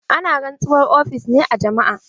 Ana rantsuwar ofis ne a jama'a.